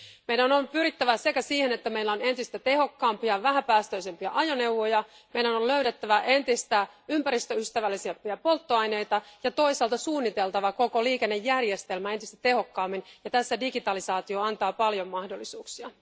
Meidän on pyrittävä yhtäältä siihen että meillä on entistä tehokkaampia vähäpäästöisempiä ajoneuvoja, meidän on löydettävä entistä ympäristöystävällisempiä polttoaineita ja toisaalta suunniteltava koko liikennejärjestelmä entistä tehokkaammin, ja tässä digitalisaatio antaa paljon mahdollisuuksia.